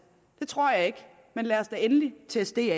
det tror jeg ikke men lad os da endelig teste det